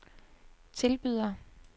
tilbyder